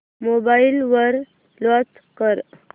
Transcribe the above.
mobile वर launch कर